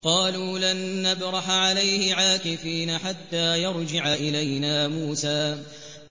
قَالُوا لَن نَّبْرَحَ عَلَيْهِ عَاكِفِينَ حَتَّىٰ يَرْجِعَ إِلَيْنَا مُوسَىٰ